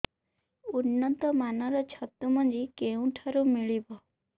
ଉନ୍ନତ ମାନର ଛତୁ ମଞ୍ଜି କେଉଁ ଠାରୁ ମିଳିବ